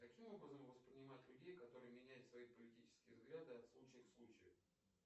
каким образом воспринимать людей которые меняют свои политические взгляды от случая к случаю